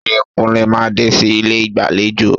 Ṣé Kúnlé máa dé sí ilé ìgbàlejò?